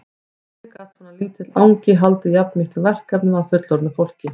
Hvernig gat svona lítill angi haldið jafn miklum verkefnum að fullorðnu fólki?